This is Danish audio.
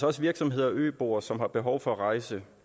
også virksomheder og øboere som har behov for at rejse